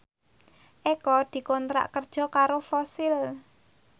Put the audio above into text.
Eko dikontrak kerja karo Fossil